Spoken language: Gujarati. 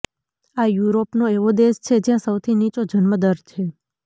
આ યુરોપનો એવો દેશ છે જ્યાં સૌથી નીચો જન્મ દર છે